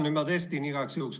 Nüüd ma testin igaks juhuks.